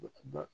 O tuma